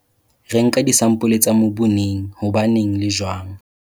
Re nka disampole tsa mobu neng, hobaneng le jwang?